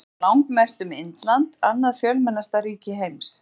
Þar munar langmest um Indland, annað fjölmennasta ríki heims.